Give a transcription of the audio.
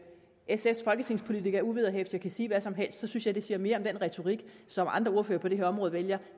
sfs folketingspolitikere uvederhæftigt kan sige hvad som helst synes jeg det siger mere om den retorik som andre ordførere på det her område vælger